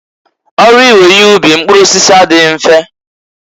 Ọrụ iwe ihe ubi mpụrụ osisi adịghị mfe.